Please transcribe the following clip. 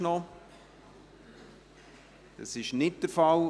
– Das ist nicht der Fall.